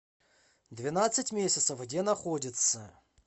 двенадцать месяцев где находится